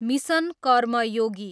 mission Karmayogi